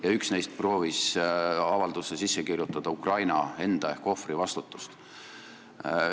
Ja üks neist proovis avaldusse sisse kirjutada Ukraina ehk ohvri vastutust.